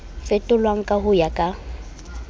fetolwang ka ho ya ka